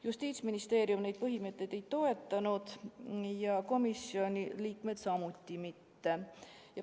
Justiitsministeerium neid mõtteid ei toetanud ja komisjoni liikmed samuti mitte.